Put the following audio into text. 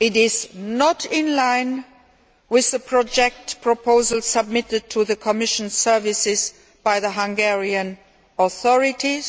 it is not in line with the project proposal submitted to the Commission services by the Hungarian authorities.